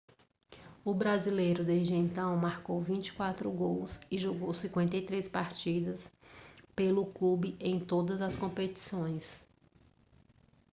o brasileiro desde então marcou 24 gols e jogou 53 partidas pelo clube em todas as competições